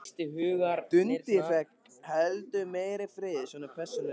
Dundi fékk heldur meiri frið, svona persónulega.